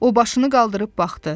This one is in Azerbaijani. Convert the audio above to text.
O başını qaldırıb baxdı.